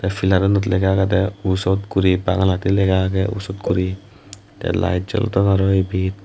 filarunot lega agedey usot guri bangaladi lega agey usot guri te layit jolodon arow ibet.